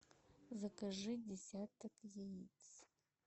закажи десяток яиц